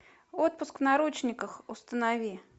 отпуск в наручниках установи